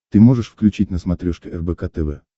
ты можешь включить на смотрешке рбк тв